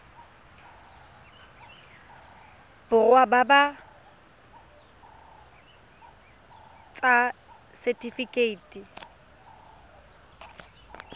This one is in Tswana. borwa ba ba ts setifikeite